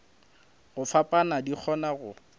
go fapana di kgona go